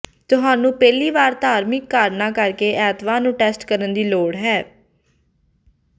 ਤੁਹਾਨੂੰ ਪਹਿਲੀ ਵਾਰ ਧਾਰਮਿਕ ਕਾਰਨਾਂ ਕਰਕੇ ਐਤਵਾਰ ਨੂੰ ਟੈਸਟ ਕਰਨ ਦੀ ਲੋੜ ਹੈ